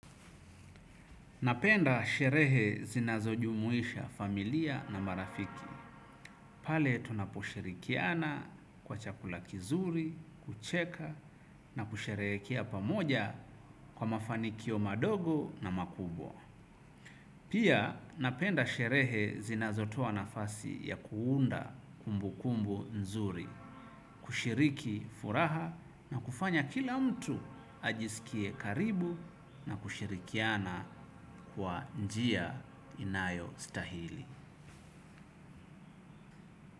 Napenda sherehe zinazojumuisha familia na marafiki. Pale tunaposhirikiana kwa chakula kizuri, kucheka na kusherehekea pamoja kwa mafanikio madogo na makubwa. Pia napenda sherehe zinazotoa nafasi ya kuunda kumbukumbu nzuri. Kushiriki furaha na kufanya kila mtu ajiskie karibu na kushirikiana kwa njia inayostahili.